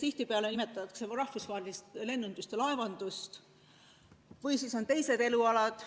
Tihtipeale nimetatakse rahvusvahelist lennundust ja laevandust, ning on ka teised elualad.